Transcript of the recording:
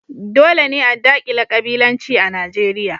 Dole ne a dakile ƙabilanci a Nijeriya.